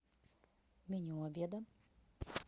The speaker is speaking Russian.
меню обеда